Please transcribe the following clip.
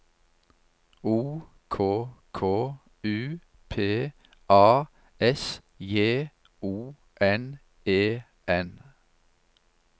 O K K U P A S J O N E N